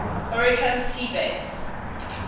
oricum sea base